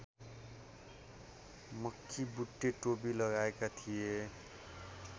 मक्खीबुट्टे टोपी लगाएका थिए